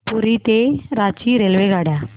पुरी ते रांची रेल्वेगाड्या